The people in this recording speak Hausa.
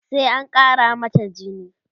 sai an Kara mata jini